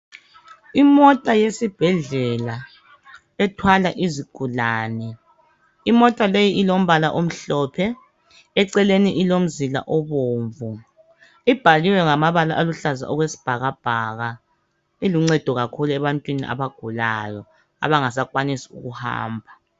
Imota yesibhedlela ethwala izigulane .lmota leyi ilombala omhlophe eceleni ilomzila obomvu ibhaliwe ngamabala aluhlaza okwesibhakabhaka . Iluncedo kakhulu ebantwini abagulayo abangasakwanisi kuhamba .